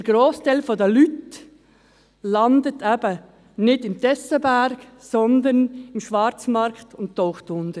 Der grosse Teil der Leute landet eben nicht auf dem Tessenberg, sondern im Schwarzmarkt und taucht unter.